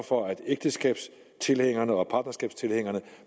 for at ægteskabstilhængerne og partnerskabstilhængerne